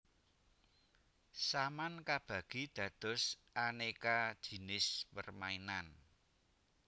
Saman kabagi dados aneka jinis permainan